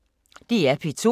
DR P2